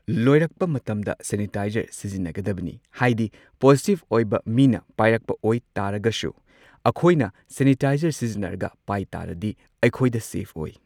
ꯂꯣꯏꯔꯛꯄ ꯃꯇꯝꯗ ꯁꯦꯅꯤꯇꯥꯏꯖꯔ ꯁꯤꯖꯤꯟꯅꯒꯗꯕꯅꯤ ꯍꯥꯏꯗꯤ ꯄꯣꯖꯤꯇꯤꯚ ꯑꯣꯏꯕ ꯃꯤꯅ ꯄꯥꯏꯔꯛꯄ ꯑꯣꯏ ꯇꯥꯔꯒꯁꯨ ꯑꯩꯈꯣꯏꯅ ꯁꯦꯅꯤꯇꯥꯏꯖꯔ ꯁꯤꯖꯤꯟꯅꯔꯒ ꯄꯥꯏ ꯇꯥꯔꯗꯤ ꯑꯩꯈꯣꯏꯗ ꯁꯦꯐ ꯑꯣꯏ꯫